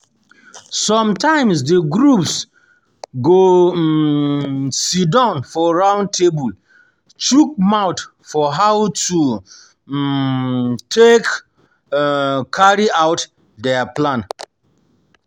Sometimes the groups go um sidon for round table chook mouth for how to um take um carry out their plan